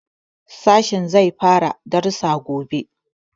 Sashen zai fara darussa gobe.